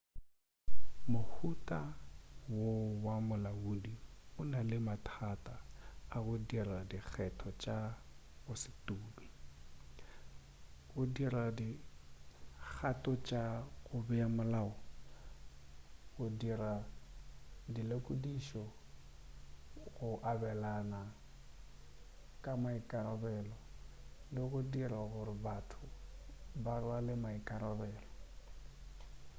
mohuta wo wa molaodi o na le mathata a go dira dikgetho tša go se tume go dira dikgato tša go bea molao go dira dilekodišišo go abelana ka maikarabelo le go dira gore batho ba rwale maikarabelo